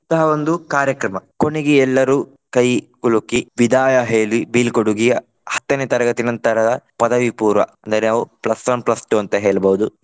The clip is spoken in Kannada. ಇಂತಹ ಒಂದು ಕಾರ್ಯಕ್ರಮ. ಕೊನೆಗೆ ಎಲ್ಲರೂ ಕೈಕುಲುಕಿ ವಿದಾಯ ಹೇಳಿ ಬೀಳ್ಕೊಡುಗೆಯ ಹತ್ತನೇ ತರಗತಿ ನಂತರದ ಪದವಿಪೂರ್ವ ಅಂದರೆ ನಾವು plus one plus two ಅಂತ ಹೇಳಬಹುದು.